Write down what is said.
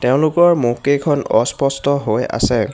তেওঁলোকৰ মুখকেইখন অস্পষ্ট হৈ আছে।